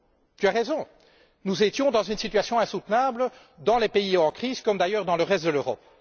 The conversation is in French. Tu as raison nous étions dans une situation insoutenable dans les pays en crise, comme d'ailleurs dans le reste de l'Europe.